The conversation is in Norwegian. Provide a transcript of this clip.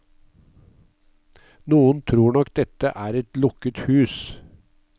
Noen tror nok dette er et lukket hus.